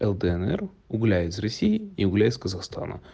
лднр угля из россии и угля из казахстана